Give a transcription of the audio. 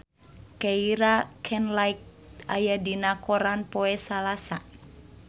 Keira Knightley aya dina koran poe Salasa